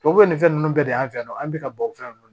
Tubabu nin fɛn ninnu bɛɛ de y'an fɛ yan nɔ an bɛ ka bɔ fɛn ninnu na